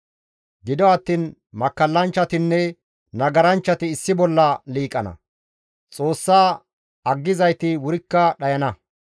Gido attiin makkallanchchatinne nagaranchchati issi bolla liiqana; Xoossa aggizayti wurikka dhayana.